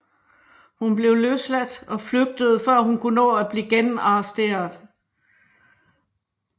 Hun blev løsladt og flygtede før hun kunne nå blive genarresteret